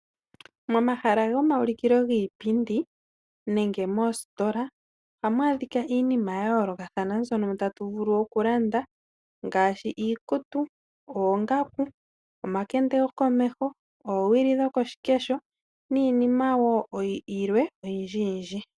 Momahala gomaulikilo giipindi nenge moositola . Ohamu adhika iinima ya yoolokathana mbyono tatu vulu oku landa. Ngaashi iikutu, oongaku, omakende gokomeho, oowili dhokoshikesho niinima yilwe oyindji yindji.